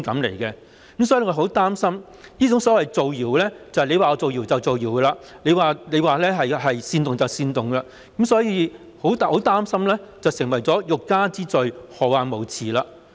我們很擔心這種所謂"造謠"即是他說是造謠就是造謠，他說是煽動就是煽動，很擔心會變成"欲加之罪，何患無辭"。